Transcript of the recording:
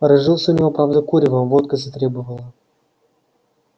разжился у него правда куревом водка затребовала